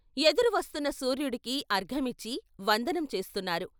ఎదురు వస్తున్న సూర్యుడికి ఆర్ఘ్యమిచ్చి వందనం చేస్తున్నారు.